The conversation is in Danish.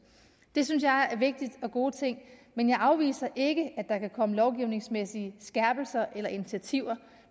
det synes jeg er vigtigt og gode ting men jeg afviser ikke at der kan komme lovgivningsmæssige skærpelser eller initiativer